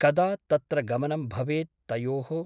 कदा तत्र गमनं भवेत् तयोः ?